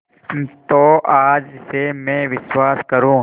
तो आज से मैं विश्वास करूँ